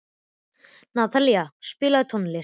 Natalie, spilaðu tónlist.